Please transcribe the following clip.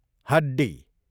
हड्डी